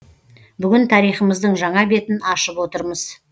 бүгін тарихымыздың жаңа бетін ашып отырмыз